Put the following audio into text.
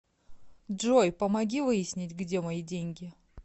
джой помоги выяснить где мои деньги